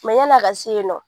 yan'a ka se yennɔ.